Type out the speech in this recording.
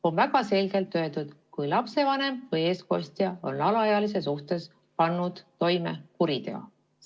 On väga selgelt öeldud, et kui lapsevanem või eestkostja on alaealise suhtes pannud toime kuriteo.